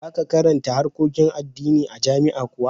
Za ka karanta harkokin addini a jami'a kuwa?